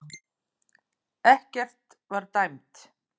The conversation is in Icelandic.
Ekkert var dæmt